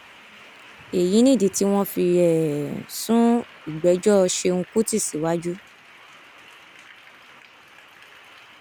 èyí nìdí tí wọn fi um sún ìgbẹjọ ṣẹun kùtì síwájú